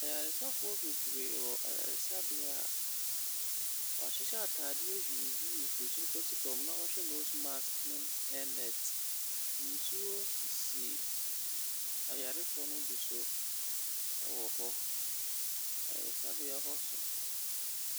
Ayareafoɔ bebree wɔ ayaresabea. Wɔahyehyɛ atadeeɛ yuuyuu firi soro kosi fa na wɔhyɛ nose mask ne hairnet. Nsuo sisi ayarefoɔ no bi so wɔ hɔ. Ayaresabea hɔ so.